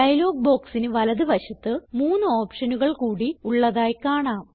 dialogue ബോക്സിന് വലത് വശത്ത് മൂന്ന് ഓപ്ഷനുകൾ കൂടി ഉള്ളതായി കാണാം